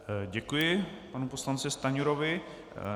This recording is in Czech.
Děkuji panu poslanci Stanjurovi.